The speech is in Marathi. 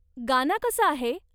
गाना कसं आहे?